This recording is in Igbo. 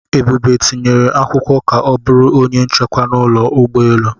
Ebube tinyere akwụkwọ ka ọ bụrụ onye nchekwa n'ụlọ ụgbọelu.